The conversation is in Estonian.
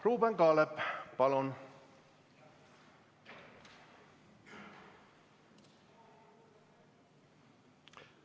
Ruuben Kaalep, palun!